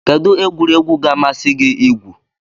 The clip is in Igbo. Kedu egwuregwu ga-amasị gị igwu?